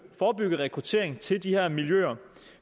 rekruttering til de her miljøer